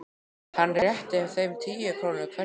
Hann rétti þeim tíu krónur hverjum.